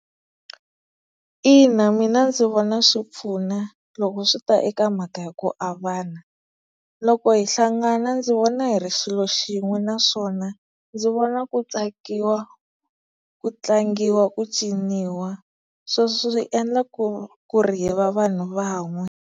Ina mina ndzi vona swi pfuna loko swi ta eka mhaka ya ku avana, loko hi hlangana ndzi vona hi ri xilo xin'we naswona ndzi vona ku tsakiwa ku tlangiwa ku ciniwa sweswo swi endla ku ku ri hi va vanhu van'we.